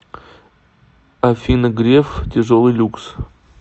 афина греф тяжелый люкс